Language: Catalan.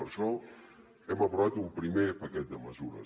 per això hem aprovat un primer paquet de mesures